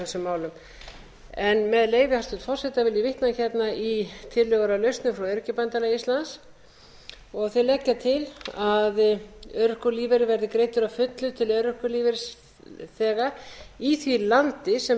ég vitna hérna í tillögur að lausnum frá öryrkjabandalagi íslands þau leggja til að örorkulífeyrir verði greiddur að fullu til örorkulífeyrisþega í því landi sem